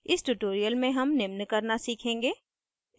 इस tutorial में हम निम्न करना सीखेंगे